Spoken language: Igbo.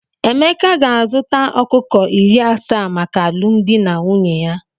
Emeka ga-azụta ọkụkọ iri asaa maka alụmdi na nwunye ya.